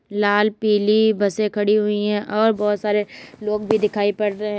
लाल पीली बसें खड़ी हुई है और बहुत सारे लोग भी दिखाई पड़ रहे हैं।